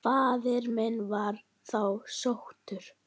Faðir minn var þá sóttur.